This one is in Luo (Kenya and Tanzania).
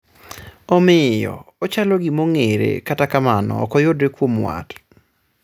Omiyo, ochalo gimong'ere kata kamano okoyudre kuom wat